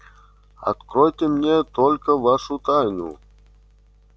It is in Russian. откройте ты мне только вашу тайну